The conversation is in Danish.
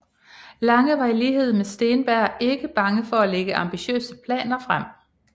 Lange var i lighed med Steenberg ikke bange for at lægge ambitiøse planer frem